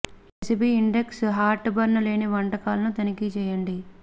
ఈ recipe index heartburn లేని వంటకాలను తనిఖీ చేయండి